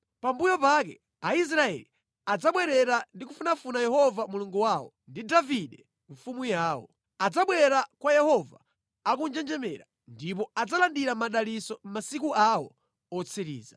Pambuyo pake Aisraeli adzabwerera ndi kufunafuna Yehova Mulungu wawo ndi Davide mfumu yawo. Adzabwera kwa Yehova akunjenjemera ndipo adzalandira madalitso mʼmasiku awo otsiriza.